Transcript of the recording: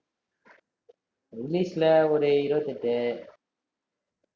english ல ஒரு இருவத்து எட்டு